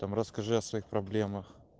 там расскажи о своих проблемах